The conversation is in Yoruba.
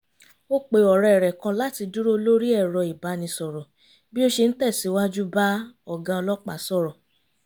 ó pe ọ̀rẹ́ rẹ̀ kan láti dúró lórí ẹ̀rọ ìbánisọ̀rọ̀ bí ó ṣe ń tẹ̀síwájú bá ọ̀gá ọlọ́pàá sọ̀rọ̀